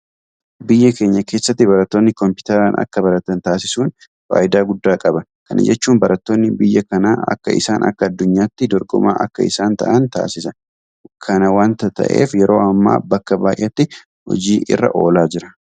Biyya keenya keessatti barattoonni Kompiitaraan akka baratan taasisuun faayidaa guddaa qaba. Kana jechuun barattoonni biyya kanaa akka isaan akka addunyaatti dorgomaa akka isaan ta'an taasisa. Kana waanta ta'eef yeroo ammaa bakka baay'eetti hojii irra oolaa jira.